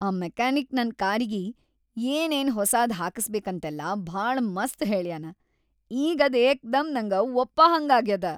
ಆ ಮೆಕ್ಯಾನಿಕ್‌ ನನ್‌ ಕಾರಿಗೆ ಏನೇನ್‌ ಹೊಸಾದ್‌ ಹಾಕಸ್ಬೇಕಂತೆಲ್ಲಾ ಭಾಳ ಮಸ್ತ್‌ ಹೇಳ್ಯಾನ. ಈಗ್‌ ಅದ್‌ ಏಕ್ದಂ ನಂಗ ಒಪ್ಪಹಂಗಾಗ್ಯಾದ.